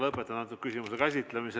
Lõpetan antud küsimuse käsitlemise.